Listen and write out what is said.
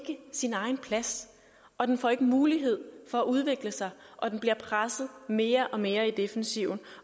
sin egen plads og den får ikke mulighed for at udvikle sig og den bliver presset mere og mere i defensiven